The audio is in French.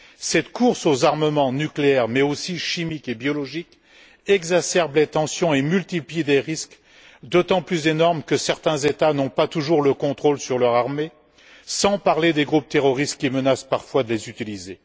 Cette course aux armements nucléaires, mais aussi chimiques et biologiques, exacerbe les tensions et multiplie des risques, d'autant plus énormes que certains États n'ont pas toujours le contrôle de leur armée, sans parler des groupes terroristes qui menacent parfois de les utiliser.